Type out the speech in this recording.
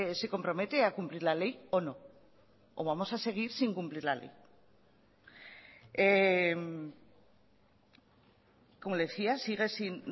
se compromete a cumplir la ley o no o vamos a seguir sin cumplir la ley como le decía sigue sin